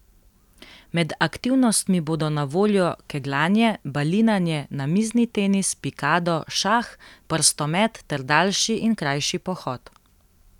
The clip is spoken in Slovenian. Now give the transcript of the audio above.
Med aktivnostmi bodo na voljo kegljanje, balinanje, namizni tenis, pikado, šah, prstomet ter daljši in krajši pohod.